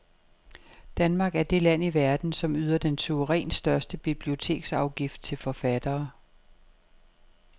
Danmark er det land i verden, som yder den suverænt største biblioteksafgift til forfattere.